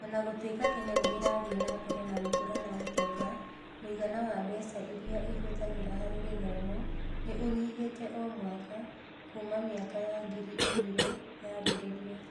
O na gũtuĩka Kenya nĩ ĩrathiĩ na mbere na gũkũra na ũtonga, mũigana wa mbeca iria ĩhũthagĩra harĩ gĩthomo nĩ ũnyihĩte o mwaka kuuma mĩaka ya ngiri igĩrĩ yambĩrĩria.